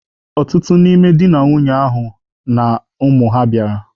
Ọtụtụ n'ime di na nwunye ahụ na ụmụ ha bịara.